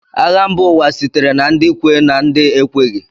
Agha mba ụwa sitere na ndị kwe na ndị ekweghị